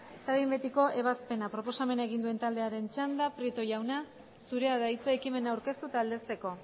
eta behin betiko ebazpena proposamena egin duen taldearen txanda prieto jauna zurea da hitza ekimena aurkeztu eta aldezteko